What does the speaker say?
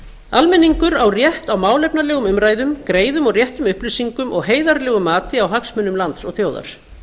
almenningur á rétt á málefnalegum umræðum greiðum og réttum upplýsingum og heiðarlegu mati á hagsmunum lands og þjóðar